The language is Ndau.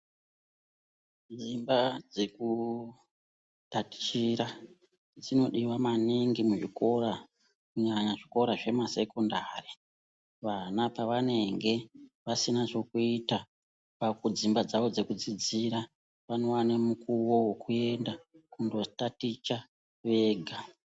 Dzimba dzeku tatichira ,dzinodiwa maningi muzvikora , kunyanya zvikora zvema sekondari, vana pavanenge vasina zvokuita kudzimba dzavo dzekudzidzira vanowane mukuwo wekuenda kunotaticha vega.